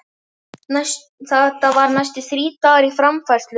Þetta er næstum þrír dagar í framfærslu?